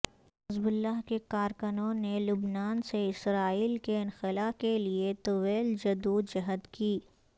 حزب اللہ کے کارکنوں نے لبنان سے اسرائیل کے انخلاء کے لیے طویل جدوجہد کی